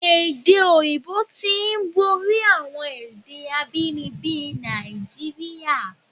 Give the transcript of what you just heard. Èdè òyìnbó tí ń borí àwọn èdè abínibí Nàìjíríà.